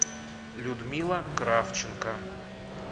людмила кравченко